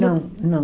Não, não.